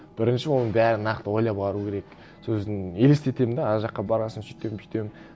бірінші оның бәрін нақты ойлап алу керек сосын елестетемін де ана жаққа барған сон сөйтемін бүйтемін